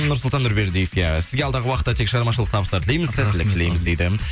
нұрсұлтан нұрбердиев иә сізге алдағы уақытта тек шығармашылық табыстар тілейміз сәттілік тілейміз дейді